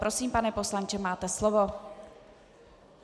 Prosím, pane poslanče, máte slovo.